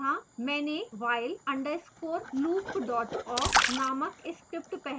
मैंने while _ loop awk named script पहले ही लिखी है